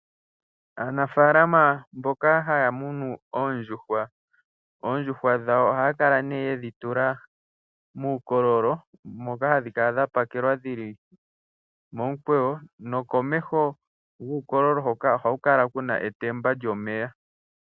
Aanafaalama mboka haya munu oondjuhwa, oondjuhwa dhayo ohaya kala ihe yedhi tula muukololo moka hadhi kala dha pakelwa dhi li momukweyo, nokomeho guukololo hoka ohaku kala ku na etemba lyomeya.